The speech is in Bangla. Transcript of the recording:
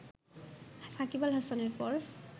সাকিব আল হাসানের পর